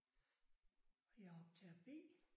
Og jeg er optager B